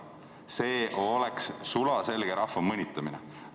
See oleks sulaselge rahva mõnitamine.